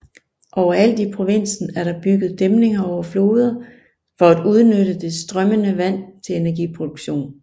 Overalt i provinsen er der bygget dæmninger over floder for at udnytte det strømmende vand til energiproduktion